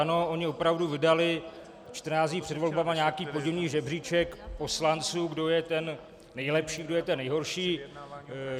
Ano, oni opravdu vydali 14 dní před volbami nějaký podivný žebříček poslanců, kdo je ten nejlepší, kdo je ten nejhorší.